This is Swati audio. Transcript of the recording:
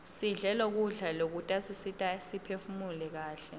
sidle kudla lokutasisita siphefumule kaihle